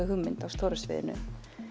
hugmynd á stóra sviðinu